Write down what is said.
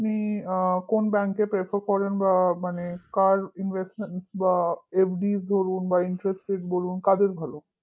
তাহলে আপনি কোন bank কে prefer করেন বা মানে কার investment বা মানে FD ধরুন investment বলুন কাদের ভালো